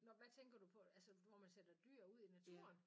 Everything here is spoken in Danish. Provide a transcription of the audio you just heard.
Nåh hvad tænker du på altså hvor man sætter dyr ud i naturen